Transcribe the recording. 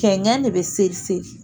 Kɛnkɛn de bɛ seri seri.